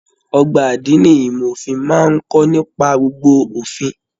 Ọgbà adini ìmọ òfin máa n kọ nípa gbogbo òfin.